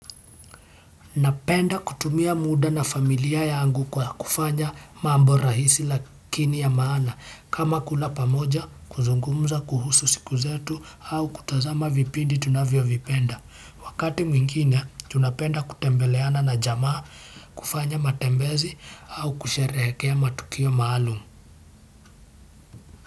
Napenda kutumia mda na familia yangu kwa kufanya mambo rahisi lakini ya maana kama kula pamoja, kuzungumza kuhusu siku zetu, au kutazama vipindi tunavyo vipenda. Wakati mwingine, tunapenda kutembeleana na jamaa kufanya matembezi au kusherehekea matukio maalum.